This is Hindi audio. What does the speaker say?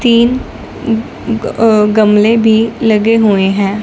तीन अह गमले भी लगे हुए हैं।